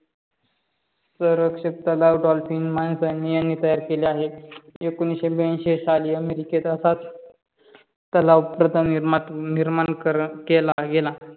सौरक्षक तलाव डॉल्फिन मानसाणी यांनी तयार केले आहे. एकोणविससे ब्यांशी साली अमेरिकेत असा तलाव प्रथम निर्माण केला गेला.